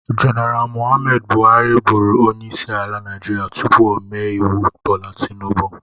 Jeneral Mụhammad bụharɨ bụrụ onyeisi ala Naijiria tupu ome iwu Bola Tinubụ.